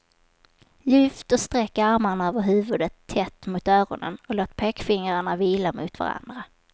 Lyft och sträck armarna över huvudet tätt mot öronen och låt pekfingrarna vila mot varandra.